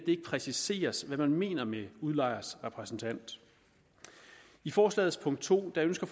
ikke præciseres hvad man mener med udlejers repræsentant i forslagets punkt to ønsker